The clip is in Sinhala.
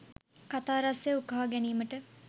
කතා රසය උකහා ගැනීමට